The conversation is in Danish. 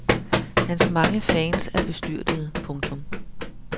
Hans mange fans er bestyrtede. punktum